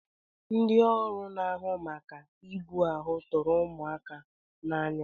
Ndị ọrụ na-ahụ maka ibu ahụ tụrụ ụmụaka n'anya.